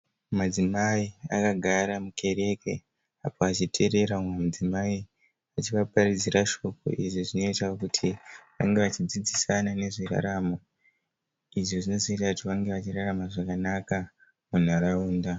Madzimai akagara mukereke apo vachitererera mumwe mudzimai achivapatidzira shoko, izvi zvinoita kuti vange vachidzidzisana nezveraramo, izvi zvinoita kuti vange vachirama zvakanaka munharaunda.